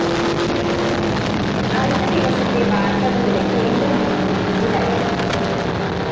അടുത്ത ദിവസത്തെ വാര്‍ത്തകളുടെ കേന്ദ്രബിന്ദു ഇതിലായിരുന്നു